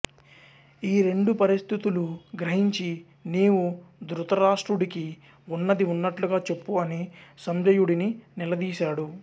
ఈ రెండు పరిస్థుతులు గ్రహించి నీవు ధృతరాష్ట్రుడికి వున్నది ఉన్నట్లుగా చెప్పు అని సంజయుడిని నిలదీశాడు